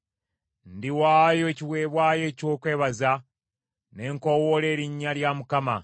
Ndiwaayo ekiweebwayo eky’okwebaza, ne nkoowoola erinnya lya Mukama .